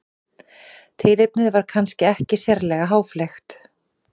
Tilefnið var kannski ekki sérlega háfleygt.